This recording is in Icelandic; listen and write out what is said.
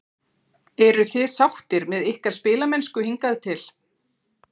Eruð þið sáttir með ykkar spilamennsku hingað til?